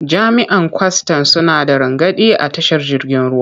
Jami'an kwastan suna da rangadi a tashar jirgin ruwa.